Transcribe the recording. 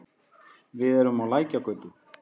Við erum á Lækjargötu.